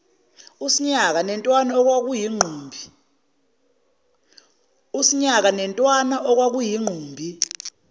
usinyaka netwani okwakuyingqumbi